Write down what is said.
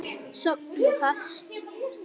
Sofna fast.